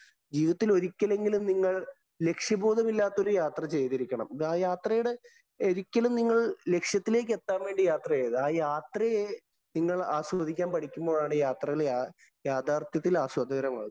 ജീവിതത്തില്‍ ഒരിക്കലെങ്കിലും നിങ്ങള്‍ ലക്ഷ്യബോധമില്ലാത്ത ഒരു യാത്ര ചെയ്തിരിക്കണം. ആ യാത്രയുടെ ഒരിക്കലും നിങ്ങള് ലക്ഷ്യത്തിലേക്ക് എത്താന്‍ വേണ്ടി യാത്ര ചെയ്യരുത്. ആ യാത്രയെ നിങ്ങള്‍ ആസ്വദിക്കാന്‍ പഠിക്കുമ്പോഴാണ് യാത്രയിലെ യാഥാര്‍ത്ഥത്തില്‍ ആസ്വദകരമാകുന്നത്.